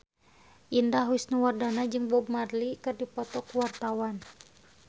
Indah Wisnuwardana jeung Bob Marley keur dipoto ku wartawan